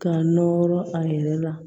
K'a nɔrɔ a yɛrɛ la